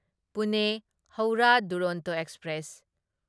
Pune Howrah Duronto express